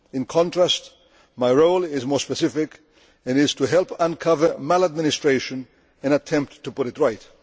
In contrast, my role is more specific it is to help uncover maladministration and attempt to put it right.